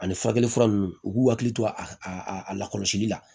Ani furakɛli fura nunnu u k'u hakili to a la kɔlɔsili la